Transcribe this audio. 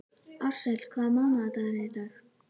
Ársæl, hvaða mánaðardagur er í dag?